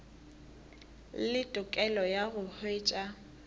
le tokelo ya go hwetša